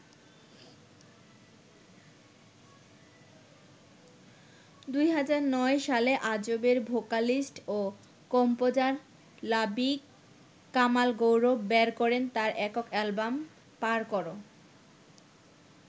২০০৯ সালে আজবের ভোকালিস্ট ও কম্পোজার লাবিক কামাল গৌরব বের করেন তার একক অ্যালবাম ‘পার করো’।